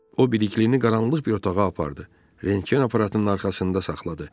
O bəlikliyi qaranlıq bir otağa apardı, rentgen aparatının arxasında saxladı.